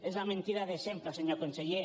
és la mentida de sempre senyor conseller